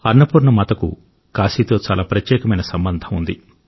అన్నపూర్ణ మాతకు కాశీతో చాలా ప్రత్యేకమైన సంబంధం ఉంది